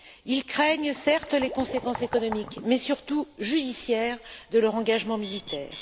Ils craignent, certes, les conséquences économiques, mais surtout judiciaires, de leur engagement militaire.